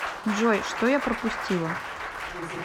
джой что я пропустила